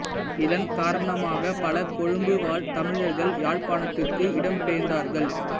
இதன் காரணமாக பல கொழும்பு வாழ் தமிழர்கள் யாழ்ப்பாணத்துக்கு இடம்பெயர்ந்தார்கள்